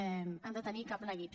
ni han de tenir cap neguit